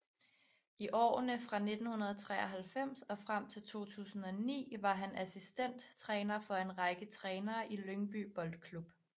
I årene fra 1993 og frem til 2009 var han assistent træner for en række trænere i Lyngby Boldklub